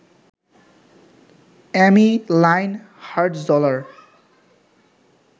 অ্যামি Lynn Hartzler